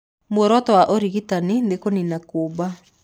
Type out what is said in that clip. Mũoroto wa ũrigitani nĩ kũnina kuumba.